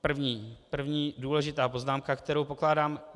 První důležitá poznámka, kterou pokládám.